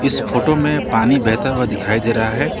इस फोटो में पानी बहता हुआ दिखाई दे रहा है ।